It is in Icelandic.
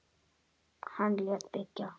Hann lét byggja